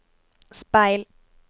speil